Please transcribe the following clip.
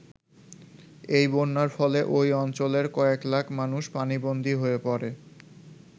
এই বন্যার ফলে ঐ অঞ্চলের কয়েক লাখ মানুষ পানিবন্দী হয়ে পড়ে।